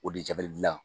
O de jabalidilan